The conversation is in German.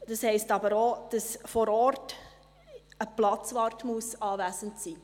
Das heisst aber auch, dass vor Ort ein Platzwart anwesend sein muss.